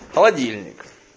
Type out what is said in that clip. холодильник